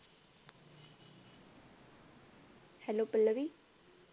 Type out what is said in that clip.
hello Pallavi